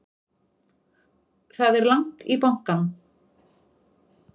Það er langt í bankann!